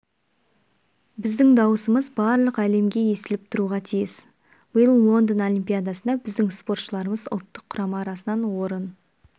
біздің дауысымыз барлық әлемге естіліп тұруға тиіс биыл лондон олимпиадасында біздің спортшыларымыз ұлттық құрама арасынан орын